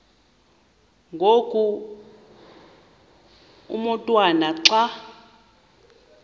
ngoku umotwana xa